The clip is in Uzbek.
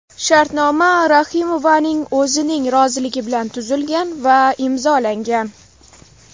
Shartnoma Rahimovaning o‘zining roziligi bilan tuzilgan va imzolangan.